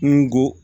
N ko n ko